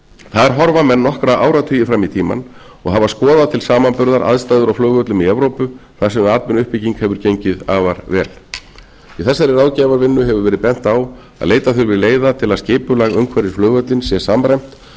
þar horfa menn nokkra áratugi fram í tímann og hafa skoðað til samanburðar aðstæður á flugvöllum í evrópu þar sem atvinnuuppbygging hefur gengið afar vel í þessari ráðgjafarvinnu hefur verið bent á að leita þurfi leiða til að skipulag umhverfi við flugvöllinn sé samræmt